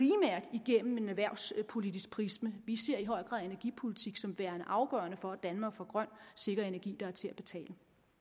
igennem en erhvervspolitisk prisme vi ser i høj grad energipolitik som værende afgørende for at danmark får grøn sikker energi der er til at betale